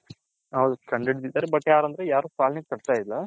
ಹೌದ್ ಕಂಡಿದ್ದಿದರೆ but ಯಾರ ಅಂದ್ರೆ ಪಾಲನೆ ಕತ್ಹೈಲ್ಲ